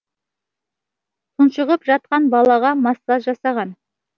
тұншығып жатқан балаға массаж жасаған